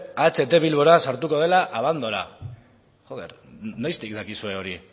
aht bilbora sartuko dela abandora noiztik dakizue hori